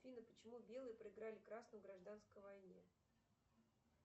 афина почему белые проиграли красным в гражданской войне